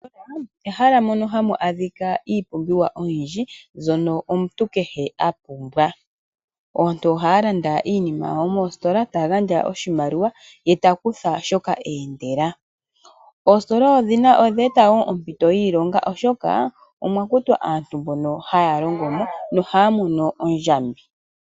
Ostola ehala mono hamu adhika iipumbiwa oyindji, mbyono omuntu kehe a pumbwa aantu ohaya landa iinima yawo moostola ta gandja oshimaliwa ye ta kutha shoka eendela. Oostola odheeta wo oompito yiilonga oshoka omwa kutwa aantu mbono haya longo mo nohaya mono ondjambi.